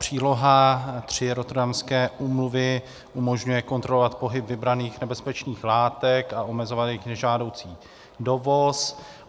Příloha III Rotterdamské úmluvy umožňuje kontrolovat pohyb vybraných nebezpečných látek a omezovat jejich nežádoucí dovoz.